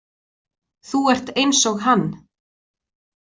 Þú ert eins og hann.